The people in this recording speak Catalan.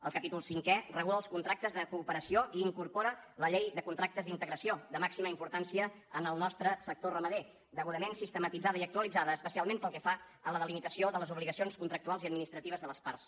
el capítol cinquè regula els contractes de cooperació i incorpora la llei de contractes d’integració de màxima importància en el nostre sector ramader degudament sistematitzada i actualitzada especialment pel que fa a la delimitació de les obligacions contractuals i administratives de les parts